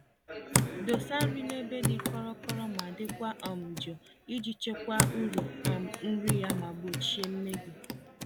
Dosa nri n'ebe dị kọrọ-kọrọ ma dịkwa um jụụ, iji chekwaa uru um nri ya ma gbochie mmebi.